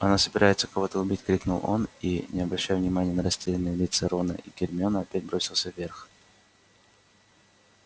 она собирается кого-то убить крикнул он и не обращая внимания на растерянные лица рона и гермионы опять бросился вверх